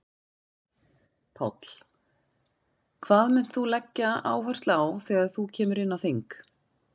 Páll: Hvað munt þú leggja áherslu á þegar þú kemur inn á þing?